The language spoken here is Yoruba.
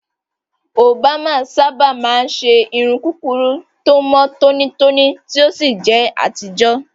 Òbámà sábà máa ń ṣe irun kúkúrú tó mọ́ tónítóní tí ó sì jẹ́ àtijọ́.